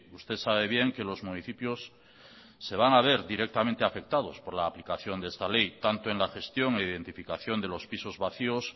usted sabe bien que los municipios se van a ver directamente afectados por la aplicación de esta ley tanto en la gestión e identificación de los pisos vacíos